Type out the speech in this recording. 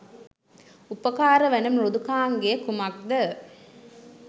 උපකාර වන මෘදුකාංගය කුමක්ද?